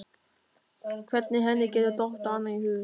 Hvernig henni geti dottið annað í hug?